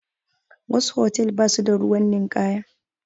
Wasu hotal ba su da ruwan ninkaya